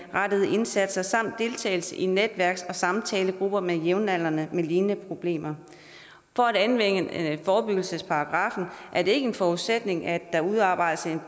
indsatser samt deltagelse i netværks og samtalegrupper med jævnaldrende med lignende problemer for at anvende forebyggelsesparagraffen er det ikke en forudsætning at der udarbejdes